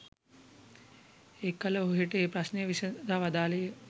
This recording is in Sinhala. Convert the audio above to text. එකළ ඕහට ඒ ප්‍රශ්නය විසදා වදාළේ ය.